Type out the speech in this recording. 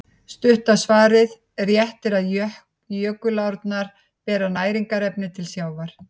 Stutta svarið: Rétt er að jökulárnar bera næringarefni til sjávar.